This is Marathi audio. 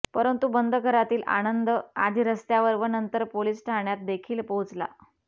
परंतु बंद घरातील आनंद आधी रस्त्यावर व नंतर पोलिस ठाण्यातदेखील पोहोचला